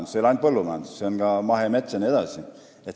Jutt ei ole ainult põllumajandusest, vaid ka mahemetsast jne.